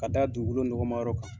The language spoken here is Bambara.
Ka taa dugukolo nɔgɔmayɔrɔ kan.